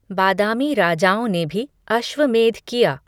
बादामी राजाओं ने भी अश्वमेध किया।